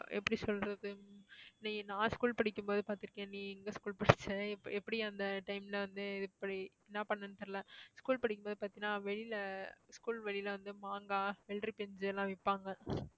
எப்படி சொல்றது உம் நீ நான் school படிக்கும்போது பார்த்திருக்கியா நீ எங்க school படிச்ச எப்~ எப்படி அந்த time ல வந்து எப்படி என்ன பண்ணனும்னு தெரியலே school படிக்கும்போது பார்த்தீன்னா வெளியில school வெளில வந்து மாங்கா வெள்ளரிப்பிஞ்சு எல்லாம் விப்பாங்க